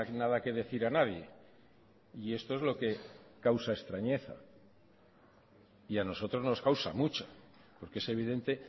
nada que decir a nadie y esto es lo que causa extrañeza y a nosotros nos causa mucho porque es evidente